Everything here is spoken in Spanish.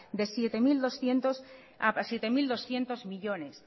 a siete mil doscientos millónes